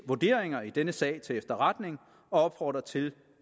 vurderinger i denne sag til efterretning og opfordrer til